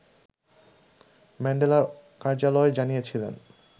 ম্যান্ডেলার কার্যালয় জানিয়েছিল